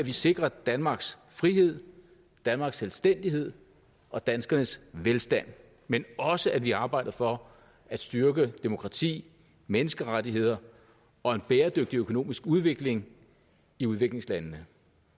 vi sikrer danmarks frihed danmarks selvstændighed og danskernes velstand men også at vi arbejder for at styrke demokrati menneskerettigheder og en bæredygtig økonomisk udvikling i udviklingslandene